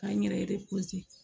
K'an yɛrɛ